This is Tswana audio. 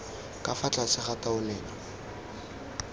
ka fa tlase ga taolelo